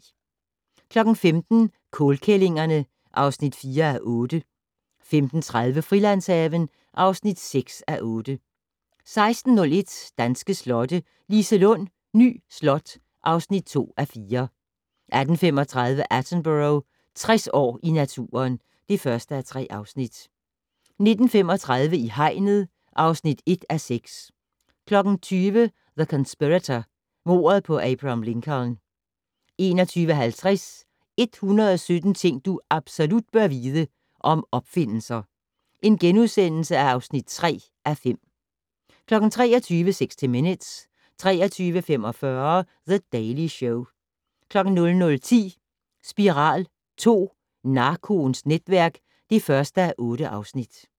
15:00: Kålkællingerne (4:8) 15:30: Frilandshaven (6:8) 16:01: Danske slotte - Liselund Ny Slot (2:4) 18:35: Attenborough - 60 år i naturen (1:3) 19:35: I hegnet (1:6) 20:00: The Conspirator - mordet på Abraham Lincoln 21:50: 117 ting du absolut bør vide - om opfindelser (3:5)* 23:00: 60 Minutes 23:45: The Daily Show 00:10: Spiral II: Narkoens netværk (1:8)